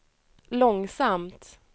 långsamt